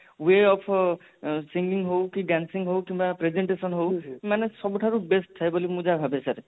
way of sining ହୋଉ କି dancing ହୋଉ କି presentation ହୋଉ ମାନେ ସବୁଠାରୁ best ଥାଏ ବୋଲି ମୁଁ ଯାହା ଭାବେ sir